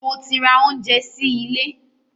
Mo ti ra oúnjẹ sí ilé.